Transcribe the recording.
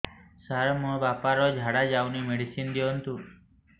ସାର ମୋର ବାପା ର ଝାଡା ଯାଉନି ମେଡିସିନ ଦିଅନ୍ତୁ